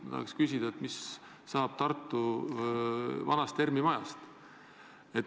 Ma tahan küsida, mis saab Tartu vanast ERM-i majast.